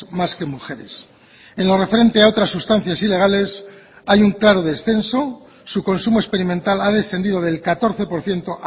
más que mujeres en lo referente a otras sustancias ilegales hay un claro descenso su consumo experimental ha descendido del catorce por ciento